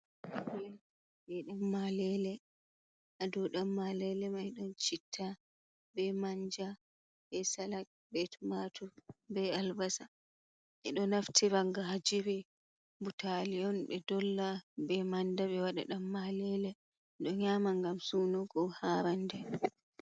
Plet be danmalele, ha dau danmalele mai don citta be manja be salak be tomatu be albasa bedo naftira gajiri butali on be dolla be manda be wada danmalele bedo nyama gam sunugo ha rande.